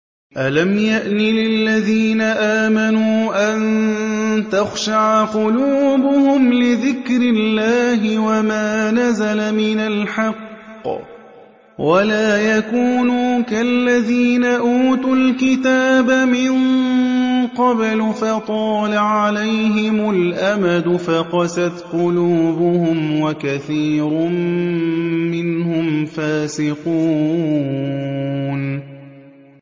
۞ أَلَمْ يَأْنِ لِلَّذِينَ آمَنُوا أَن تَخْشَعَ قُلُوبُهُمْ لِذِكْرِ اللَّهِ وَمَا نَزَلَ مِنَ الْحَقِّ وَلَا يَكُونُوا كَالَّذِينَ أُوتُوا الْكِتَابَ مِن قَبْلُ فَطَالَ عَلَيْهِمُ الْأَمَدُ فَقَسَتْ قُلُوبُهُمْ ۖ وَكَثِيرٌ مِّنْهُمْ فَاسِقُونَ